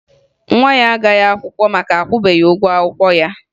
Nwa ya agaghị akwụkwọ maka na akwụbeghi ụgwọ akwụkwọ ya